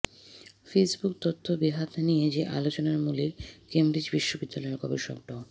Facebook তথ্য বেহাত নিয়ে যে আলোচনার মূলে কেমব্রিজ বিশ্ববিদ্যালয়ের গবেষক ড